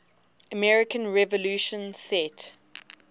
american revolution set